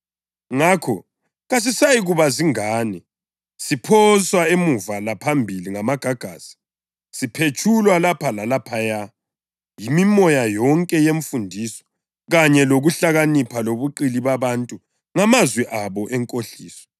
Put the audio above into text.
Ngakho kasisayikuba zingane, siphoswa emuva laphambili ngamagagasi, siphetshulwa lapha lalaphaya yimimoya yonke yemfundiso kanye lokuhlakanipha lobuqili babantu ngamazwi abo enkohliso.